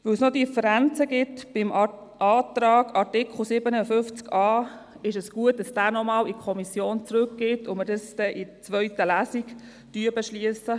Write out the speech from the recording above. Weil es noch Differenzen beim Antrag zu Artikel 57a gibt, ist es gut, diesen noch einmal zurück in die Kommission zu schicken und erst in der zweiten Lesung zu beschliessen.